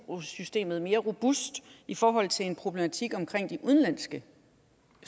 systemet mere robust i forhold til en problematik om de udenlandske